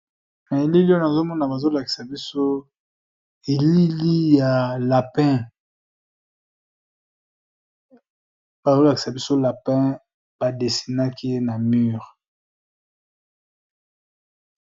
Na elili oyo nazomona bazo lakisa biso elili ya lapin bazolakisa biso lapin ba desinaki ye na mure.